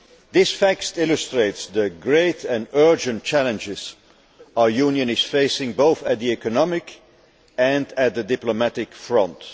These facts illustrate the great and urgent challenges our Union is facing, both on the economic and on the diplomatic front.